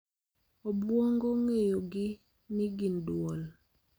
Obwongo ng�eyogi ni gin duol.